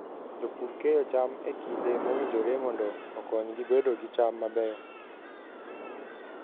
Jopur keyo cham e kinde mowinjore mondo okonygi bedo gi cham mabeyo.